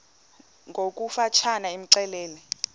ngokofu tshane imxelele